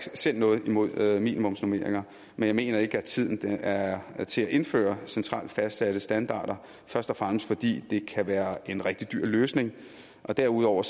selv noget imod minimumsnormeringer men jeg mener ikke at tiden er er til at indføre centralt fastsatte standarder først og fremmest fordi det kan være en rigtig dyr løsning og derudover